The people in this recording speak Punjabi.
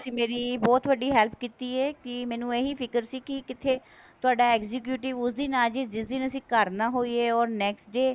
ਤੁਸੀਂ ਮੇਰੀ ਬਹੁਤ ਵੱਡੀ help ਕੀਤੀ ਹੈ ਕੀ ਮੈਨੂੰ ਇਹੀ ਫਿਕਰ ਸੀ ਕੀ ਕਿਤੇ ਤੁਹਾਡਾ executive ਉਸ ਦਿਨ ਆਜੇ ਜਿਸ ਦਿਨ ਅਸੀਂ ਘਰ ਨਾ ਹੋਈਏ or next day